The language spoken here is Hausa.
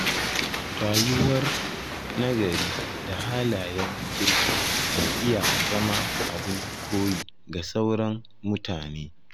Rayuwar nagari da halayen kirki na iya zama abin koyi ga sauran mutane.